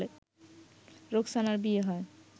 রোকসানার বিয়ে হয়